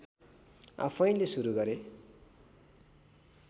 आफैंले सुरु गरे